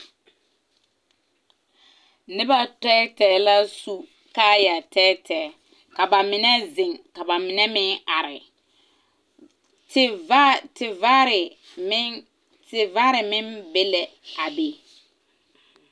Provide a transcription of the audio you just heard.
Neba tɛɛtɛɛ la su kaaya tɛɛtɛɛ. Ka ba mene zeŋ, ka ba mene meŋ are. Tevaar tevaare meŋ, tevaare meŋ be la a be